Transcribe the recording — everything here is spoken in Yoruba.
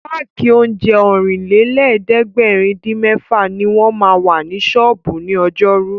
Páàkì oúnjẹ Ọ̀rìnlélẹ̀ẹ́dẹ́gbèrin-dín-mẹ́fà ní wọ́n ma wà ní ṣọ́ọ̀bú ní ọjọ́rú